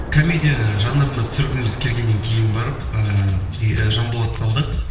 комедия жанрында түсіргіміз келгеннен кейін барып ыыы жанболатты алдық